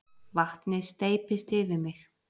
Vatnið steypist yfir mig.